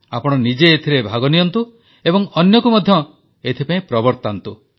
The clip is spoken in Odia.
ଆପଣ ନିଜେ ଏଥିରେ ଭାଗ ନିଅନ୍ତୁ ଓ ଅନ୍ୟକୁ ମଧ୍ୟ ଏଥିପାଇଁ ପ୍ରବର୍ତ୍ତାନ୍ତୁ